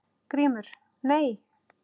GRÍMUR: Nei!